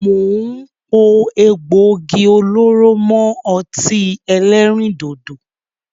Mo ń pò egbògi olóró mọ ọtí ẹlẹ́rìndòdò